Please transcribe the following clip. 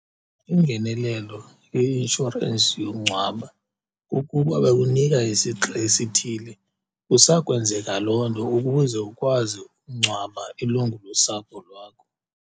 Ingenelelo ye-inshorensi yokungcwaba kukuba bakunika isixa esithile, kusakwenzeka loo nto ukuze ukwazi ukungcwaba ilungu losapho lwakho.